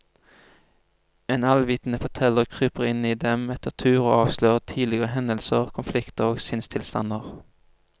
En allvitende forteller kryper inn i dem etter tur og avslører tidligere hendelser, konflikter og sinnstilstander.